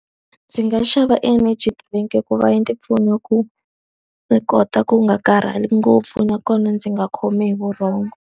Ndzi nga xava energy drink i ku va ndzi pfuna ku ni kota ku nga karhali ngopfu nakona ndzi nga khomi hi vurhongo.